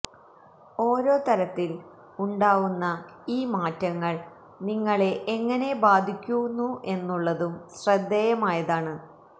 ഓരോ തരത്തില് ഉണ്ടാവുന്ന ഈ മാറ്റങ്ങള് നിങ്ങളെ എങ്ങനെ ബാധിക്കുന്നു എന്നുള്ളതും ശ്രദ്ധേയമായതാണ്